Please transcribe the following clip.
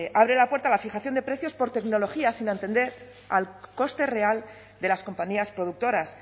abre la puerta a la fijación de precios por tecnología sin atender al coste real de las compañías productoras